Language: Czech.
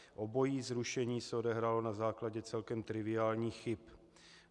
Obojí zrušení se odehrálo na základě celkem triviálních chyb.